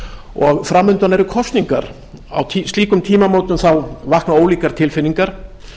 og fram undan eru kosningar á slíkum tímamótum vakna ólíkar tilfinningar